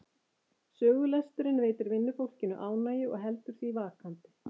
Sögulesturinn veitir vinnufólkinu ánægju og heldur því vakandi.